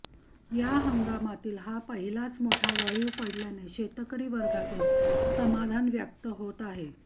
या हंगामातील हा पहिलाच मोठा वळीव पडल्याने शेतकरी वर्गातून समाधान व्यक्त होत आहे